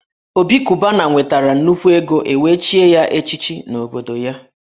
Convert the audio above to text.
Obi Cubana nwetara nnukwu ego e wee chie ya echichi n’obodo ya